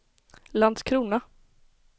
Landskrona